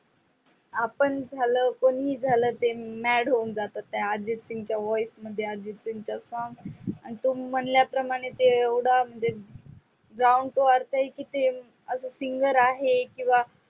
आपण झाल बहीण झाल mad जातो. त्या अर्जित सिंग च्या voice मध्ये अर्जित सिंग च song आणि तो म्हणल्याप्रमाणे ते एवडा down to earth ते singer आहे किंवा नाही.